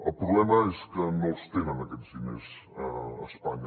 el problema és que no els tenen aquests diners a espanya